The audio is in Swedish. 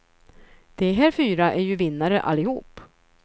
De här fyra är ju vinnare allihop.